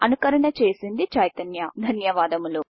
అనుకరణ చేసింది చైతన్య ధన్యవాదములు